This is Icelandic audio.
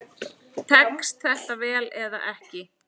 Tekst þetta vel eða ekki?